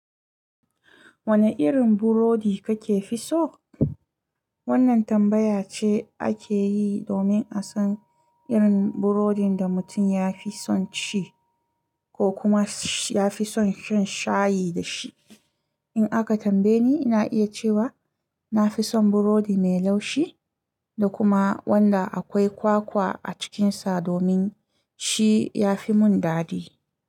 Wane irin burodi kake fi so? Wannan tambaya ce ake yi domin a san irin burodin da mutum ya fi son ci ko kuma ya fi son shan shayi da shi. In aka tambaye ni, ina iya cewa na fi son burodi mai laushi da kuma wanda akwai kwakwa a cikinsa domin shi ya fi mun dadi.